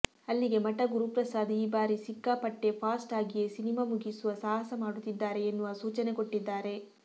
ಅಲ್ಲಿಗೆ ಮಠ ಗುರುಪ್ರಸಾದ್ ಈ ಬಾರಿ ಸಿಕ್ಕಾಪಟ್ಟೆಫಾಸ್ಟ್ ಆಗಿಯೇ ಸಿನಿಮಾ ಮುಗಿಸುವ ಸಾಹಸ ಮಾಡುತ್ತಿದ್ದಾರೆ ಎನ್ನುವ ಸೂಚನೆ ಕೊಟ್ಟಿದ್ದಾರೆ